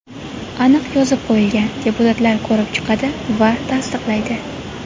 Aniq yozib qo‘yilgan: deputatlar ko‘rib chiqadi va tasdiqlaydi.